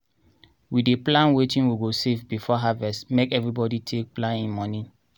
we dey plan wetin we go save before harvest make evribody take plan hin mony.